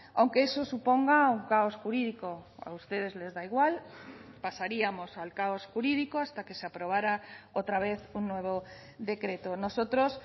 aunque eso suponga un caos jurídico a ustedes les da igual pasaríamos al caos jurídico hasta que se aprobara otra vez un nuevo decreto nosotros